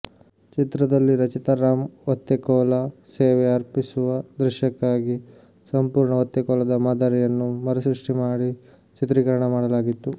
ಚಿತ್ರದಲ್ಲಿ ರಚಿತಾರಾಮ್ ಒತ್ತೆಕೋಲ ಸೇವೆ ಅರ್ಪಿಸುವ ದೃಶ್ಯಕ್ಕಾಗಿ ಸಂಪೂರ್ಣ ಒತ್ತೆಕೋಲದ ಮಾದರಿಯನ್ನು ಮರುಸೃಷ್ಟಿ ಮಾಡಿ ಚಿತ್ರೀಕರಣ ಮಾಡಲಾಗಿತ್ತು